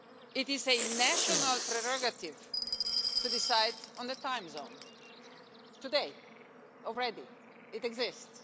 It is a national prerogative to decide on the time zone today, already, it exists.